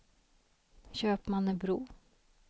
Köpmannebro